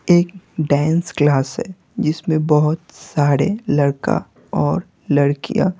एक dance class है जिसमें बहुत सारे लड़का और लड़कियां--